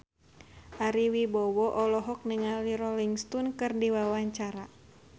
Ari Wibowo olohok ningali Rolling Stone keur diwawancara